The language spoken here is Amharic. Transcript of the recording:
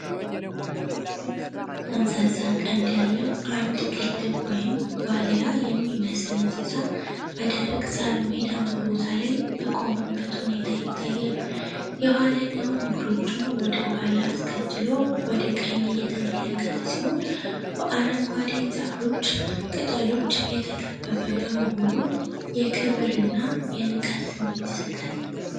ትልልቅ ጠምዛዛ ቀንድ ያለው አንድ ቅልብ ወይም ዋልያ የሚመስል እንስሳ በደረቅ ሣር ሜዳማ ቦታ ላይ በቆመበት ሁኔታ ይታያል። የኋለኛውን እግሮቹን ወደ ኋላ አስከትሎ ወደ ቀኝ እየተመለከተ ሲሆን፣ በአረንጓዴ ዛፎች ቅጠሎች የተከበበ በመሆኑ የክብርና የንቃት ስሜት ይሰጣል።